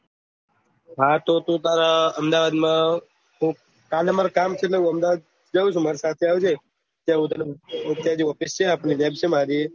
હા તો તું તારા અમદાવાદ માં કાલે મારે કામ છે એટલે હું અમદાવાદ જાઉં છું મારે પાચળ આવજે ત્યાં હું તને એક બે ઓફીસ છે આપડી જેમ કે